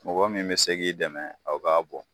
Mɔgɔ min bɛ se k'i dɛmɛ aw k'a bɔ.